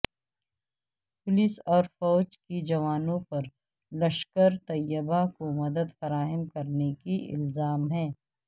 police اور فوج کے جوانوں پر لشکر طیبہ کو مدد فراہم کرنے کے الزام ہے